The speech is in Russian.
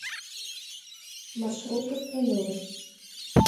маршрут гастролеры